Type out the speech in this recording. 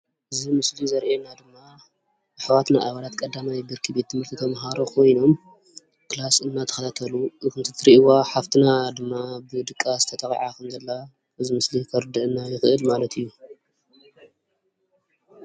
እዙይ ምስሊ ዘርእየና ድማ ኣሕዋትና ኣባላት ቀዳማይ ብርኪ ቤት ምህርቲ ተማህሮ ካይኖም ክላስ እናተኸታተሉ፣ ከም እትርእይዋ ሓፍትና ድማ ብድቃስ ተጠቂዓ ከምዘላ እዙይ ምስሊ ከርደአና ይክእል ማለት እዩ።